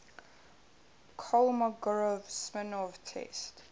kolmogorov smirnov test